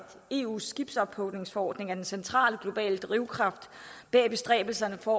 eus skibsophugningsforordning er den centrale globale drivkraft bag bestræbelserne på